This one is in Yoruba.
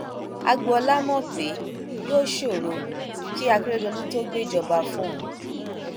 agboola mọ pé yóò sọrọ kí akérèdọlù tóó gbéjọba fóun